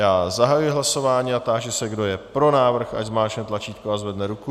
Já zahajuji hlasování a táži se, kdo je pro návrh, ať zmáčkne tlačítko a zvedne ruku.